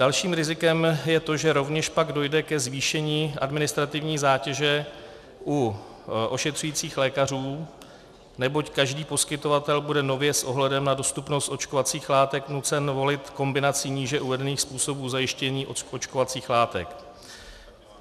Dalším rizikem je to, že rovněž pak dojde ke zvýšení administrativní zátěže u ošetřujících lékařů, neboť každý poskytovatel bude nově s ohledem na dostupnost očkovacích látek nucen volit kombinaci níže uvedených způsobů zajištění očkovacích látek.